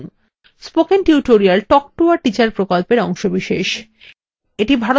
spoken tutorial talk to a teacher প্রকল্পের অংশবিশেষ